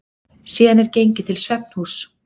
Síðan er gengið til svefnhúss.